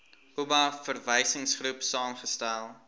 oba verwysingsgroep saamgestel